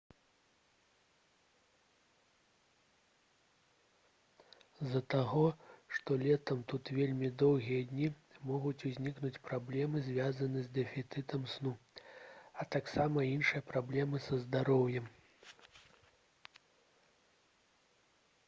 з-за таго што летам тут вельмі доўгія дні могуць узнікнуць праблемы звязаныя з дэфіцытам сну а таксама іншыя праблемы са здароўем